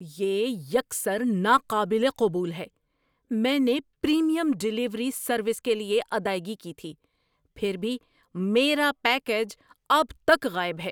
یہ یکسر ناقابل قبول ہے! میں نے پریمیم ڈیلیوری سروس کے لیے ادائیگی کی تھی، پھر بھی میرا پیکیج اب تک غائب ہے!